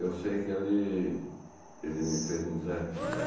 Eu sei que ele ele me fez um desafio.